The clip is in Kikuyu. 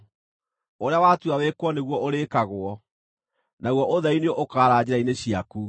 Ũrĩa watua wĩkwo nĩguo ũrĩkagwo, naguo ũtheri nĩ ũkaara njĩra-inĩ ciaku.